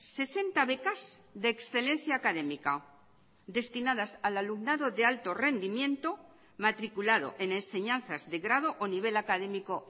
sesenta becas de excelencia académica destinadas al alumnado de alto rendimiento matriculado en enseñanzas de grado o nivel académico